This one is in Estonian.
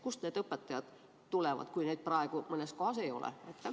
Kust need õpetajad tulevad, kui neid praegu mõnes kohas ei ole?